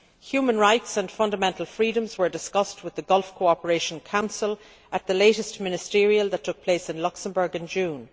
Human rights and fundamental freedoms were discussed with the Gulf Cooperation Council at the latest ministerial meeting that took place in Luxembourg in June.